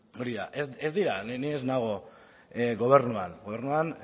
hori da ez dira ni ez nago gobernuan gobernuan